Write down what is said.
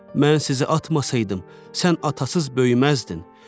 Mən sizi atmasaydım, sən atasız böyüməzdin.